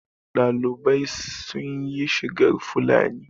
ɗalibai sun yi shigar Fulani